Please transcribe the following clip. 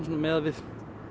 miðað við